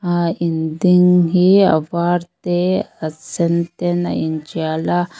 ah in ding hi a var te a sen ten a intial a.